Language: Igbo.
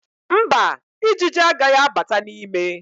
Mba, Ijiji agaghị abata n'ime